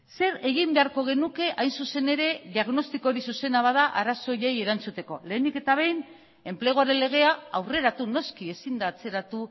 zer egin beharko genuke hain zuzen ere diagnostiko hori zuzena bada arazo horiei erantzuteko lehenik eta behin enpleguaren legea aurreratu noski ezin da atzeratu